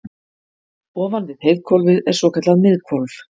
ofan við heiðhvolfið er svokallað miðhvolf